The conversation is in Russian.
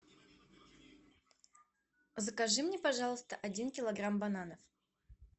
закажи мне пожалуйста один килограмм бананов